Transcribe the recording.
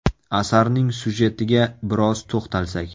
Asarning syujetiga biroz to‘xtalsak.